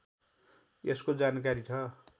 यसको जानकारी छ